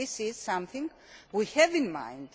This is something we have in mind.